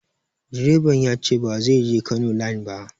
Direban ya ce ba zai je Kano line ba.